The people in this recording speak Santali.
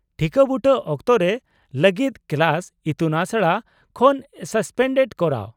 -ᱴᱷᱤᱠᱟᱹ ᱵᱩᱴᱟᱹ ᱚᱠᱛᱚ ᱨᱮ ᱞᱟᱹᱜᱤᱫ ᱠᱞᱟᱥ/ᱤᱛᱩᱱᱟᱥᱲᱟ ᱠᱷᱚᱱ ᱥᱟᱥᱯᱮᱱᱰ ᱠᱚᱨᱟᱣ ᱾